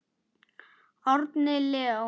Árni Leó.